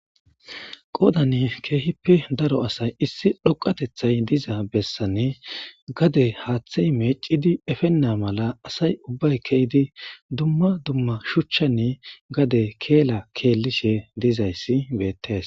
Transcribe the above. Qoodani keehippe daro asay issi dhoqatethay diza bessane gade haaththey meecidi efenna mala asay ubbay kehydi dumma dumma shuchchani gade keela keellishe dizayssi beettees.